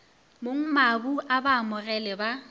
mongmabu a ba amogele ba